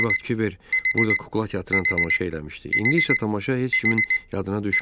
Bir vaxt Kiber burda kukla teatrının tamaşa eləmişdi, indi isə tamaşa heç kimin yadına düşmürdü.